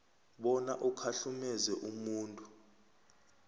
bona ukhahlumeze umuntu